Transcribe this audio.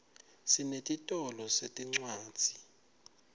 sinetitolo setincwadzi